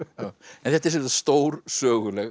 en þetta er stór söguleg